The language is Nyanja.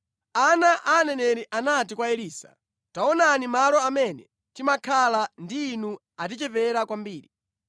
Ana a aneneri anati kwa Elisa, “Taonani malo amene timakhala ndi inu atichepera kwambiri.